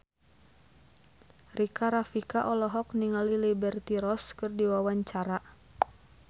Rika Rafika olohok ningali Liberty Ross keur diwawancara